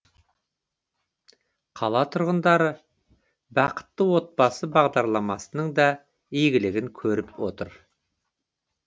қала тұрғындары бақытты отбасы бағдарламасының да игілігін көріп отыр